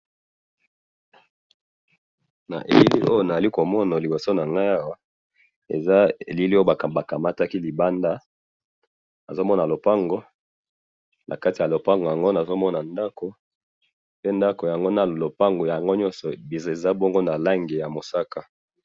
Eloko na zo mona awa, eza elili oyo ba kamataki libanda, nazo mona lopango na kati ya lopango nazo mona ndako, pe ndako yango na lopango eza nyoso na langi ya mosaka.